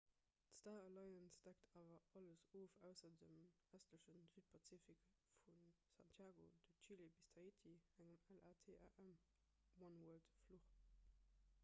d'star alliance deckt awer alles of ausser dem ëstleche südpazifik vu santiago de chile bis tahiti engem latam-oneworld-fluch